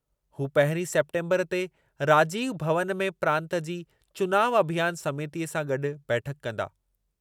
हू पहिरीं सेप्टेम्बरु ते राजीव भवनु में प्रांतु जी चुनाव अभियानु समितीअ सां गॾु बैठकु कंदा।